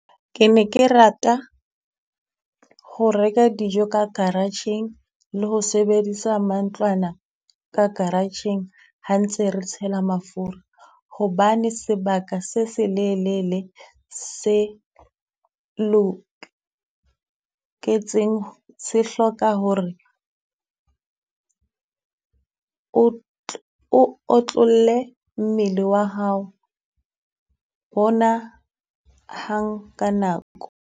Ke ne ke rata ho reka dijo ka garage-eng, le ho sebedisa mantlwana ka garage-eng ha ntse re tshela mafura. Hobane sebaka se selelele se loketseng se hloka hore o o otlolle mmele wa hao hona hang ka nako.